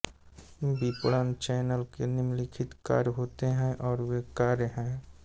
विपणन चैनल के निम्नलिखित कार्य होते हैं और वे कार्य हैं